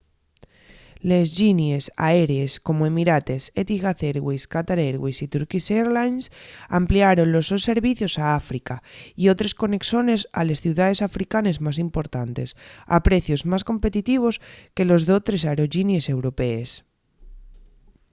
les llinies aérees como emirates etihad airways qatar airways y turkish airlines ampliaron los sos servicios a áfrica y otres conexones a les ciudaes africanes más importantes a precios más competitivos que los d’otres aerollinies europees